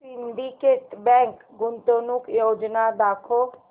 Syndicate bank गुंतवणूक योजना दाखव